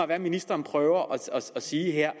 hvad ministeren prøver at sige her